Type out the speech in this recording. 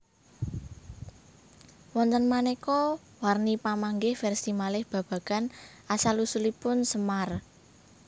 Wonten maneka warni pamanggih versi malih babagan asal usulipun Semar